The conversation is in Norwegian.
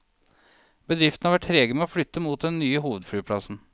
Bedriftene har vært trege med å flytte mot den nye hovedflyplassen.